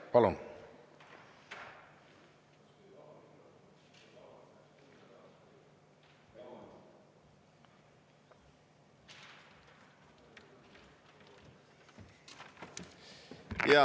Palun!